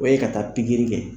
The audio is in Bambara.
O ye ka taa pikiri kɛ.